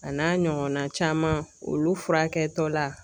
A n'a ɲɔgɔnna caman olu furakɛtɔla